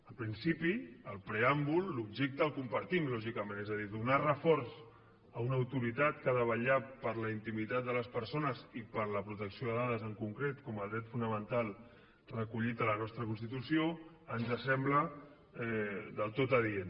en principi del preàmbul l’objecte el compartim lògicament és a dir donar reforç a una autoritat que ha de vetllar per la intimitat de les persones i per la protecció de dades en concret com a dret fonamental recollit a la nostra constitució ens sembla del tot adient